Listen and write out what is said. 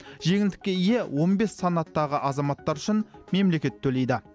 жеңілдікке ие он бес санаттағы азаматтар үшін мемлекет төлейді